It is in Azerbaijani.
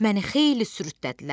Məni xeyli sürüddülər.